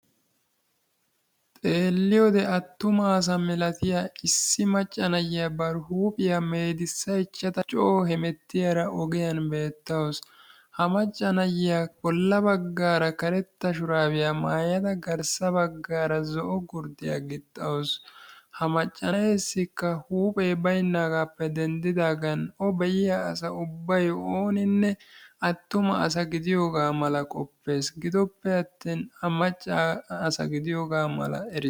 xeeliyode attumasa malatiya issi macca nayiyaa bar huuphiyaa meedisaychchidaara coo hemetiyaara ogiyaan beettawus. Ha macca na'iyaa bolla baggara karetta shurabbiya maayada garssa baggaara karetta gurddiya gixawusu. Ha macca na'essikka huuphe baynnagappe denddidaagan o be'iya asay attumasa gidiyooga mala qopees gidoppe attin a maccaasa gidiyo mala...